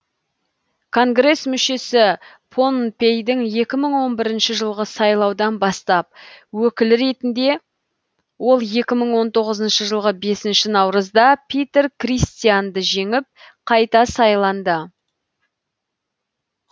конгресс мүшесі поннпейдің екі мың он бірінші жылғы сайлаудан бастап өкілі ретінде ол екі мың он тоғызыншы жылғы бесінші наурызда питер кристианды жеңіп қайта сайланды